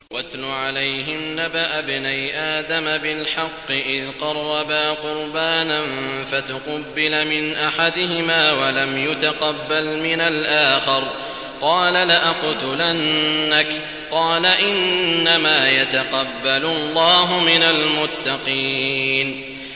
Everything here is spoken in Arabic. ۞ وَاتْلُ عَلَيْهِمْ نَبَأَ ابْنَيْ آدَمَ بِالْحَقِّ إِذْ قَرَّبَا قُرْبَانًا فَتُقُبِّلَ مِنْ أَحَدِهِمَا وَلَمْ يُتَقَبَّلْ مِنَ الْآخَرِ قَالَ لَأَقْتُلَنَّكَ ۖ قَالَ إِنَّمَا يَتَقَبَّلُ اللَّهُ مِنَ الْمُتَّقِينَ